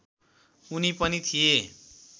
उनी पनि थिए